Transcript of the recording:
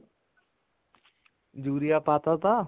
urea ਪਾਤਾ ਤਾ